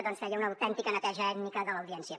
doncs feia una autèntica neteja ètnica de l’audiència